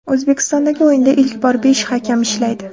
O‘zbekistondagi o‘yinda ilk bor besh hakam ishlaydi.